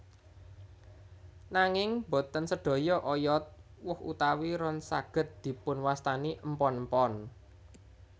Nanging boten sedaya oyod woh utawi ron saged dipunwastani empon empon